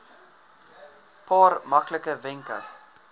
paar maklike wenke